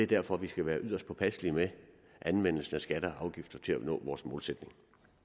derfor vi skal være yderst påpasselige med anvendelsen af skatter og afgifter til at nå vores målsætning